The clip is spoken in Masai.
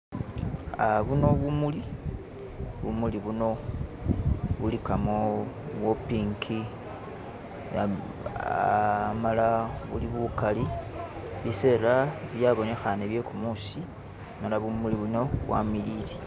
Buno bumuli, bumuli buno buligamo bwo pink amala buli bugali bisele byabonekhane byegumusi nadala bumuli buno bwamiliye.